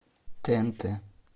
тнт